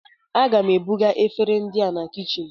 A ga m ebuga efere ndị a na kichin